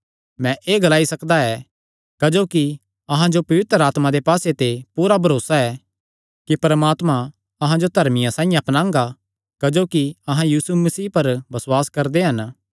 मैं एह़ ग्लाई सकदा ऐ क्जोकि अहां जो पवित्र आत्मा दे पास्से ते पूरा भरोसा ऐ कि परमात्मा अहां जो धर्मियां साइआं अपनांगा क्जोकि अहां यीशु मसीह पर बसुआस करदे हन